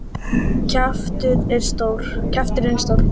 Kjafturinn er stór.